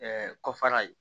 kɔfara ye